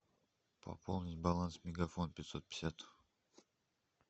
пополнить баланс мегафон пятьсот пятьдесят